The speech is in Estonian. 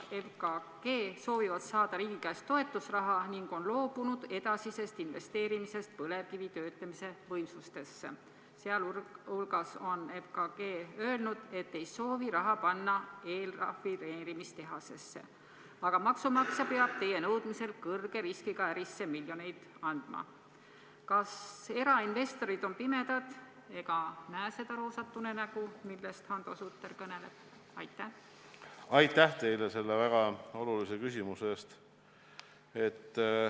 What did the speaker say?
Aitäh teile selle väga olulise küsimuse eest!